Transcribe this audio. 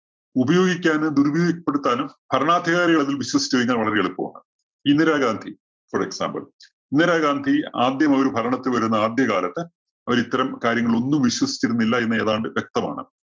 ഉപയോഗിക്കാനും, ദുരുപയോഗപ്പെടുത്താനും ഭരണാധികാരികള്‍ അതില്‍ വിശ്വസിച്ചു കഴിഞ്ഞാല്‍ വളരെ എളുപ്പമാണ്. ഇന്ദിരാഗാന്ധി for example ഇന്ദിരാഗാന്ധി ആദ്യം അവര് ഭരണത്തില്‍ വരുന്ന ആദ്യകാലത്ത് അവര് ഇത്തരം കാര്യങ്ങൾ ഒന്നും വിശ്വസിച്ചിരുന്നില്ല എന്ന് ഏതാണ്ട് വ്യക്തമാണ്.